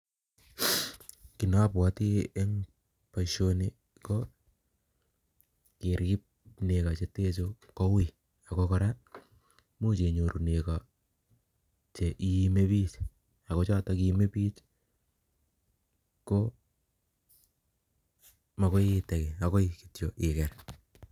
Kinobwoti en boisoni ko kerib nego chetenchu kowui ako kora imuch kenyor nego che iimebik ako choton cheimebik komagoiitegi agoi kityok iker